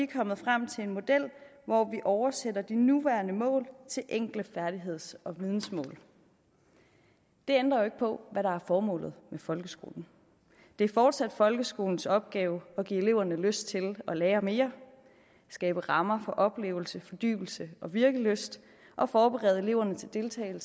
kommet frem til en model hvor vi oversætter de nuværende mål til enkle færdigheds og vidensmål det ændrer jo ikke på hvad der er formålet med folkeskolen det er fortsat folkeskolens opgave at give eleverne lyst til at lære mere skabe rammer for oplevelse fordybelse og virkelyst og forberede eleverne til at deltage